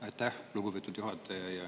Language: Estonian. Aitäh, lugupeetud juhataja!